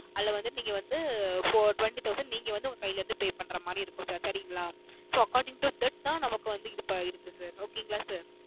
அதுல வந்து நீங்க வந்து four twenty thousand நீங்க வந்து உங்க கையில் இருந்து pay பண்ற மாதிரி இருக்கும் சரிங்களா so according to that தான் இருக்கு sir okay ங்கள Sir